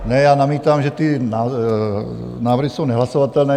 Ne, já namítám, že ty návrhy jsou nehlasovatelné.